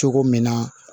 Cogo min na